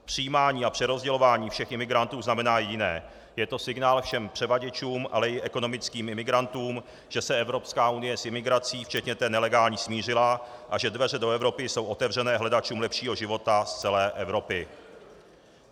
Přijímání a přerozdělování všech imigrantů znamená jediné: je to signál všem převaděčům, ale i ekonomickým imigrantům, že se Evropská unie s imigrací, včetně té nelegální, smířila a že dveře do Evropy jsou otevřené hledačům lepšího života z celé Evropy.